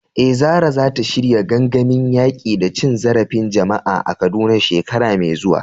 Eh, Zarah zata shirya gangamin yaƙi da cin zarafin jama’a a Kaduna shekara mai zuwa.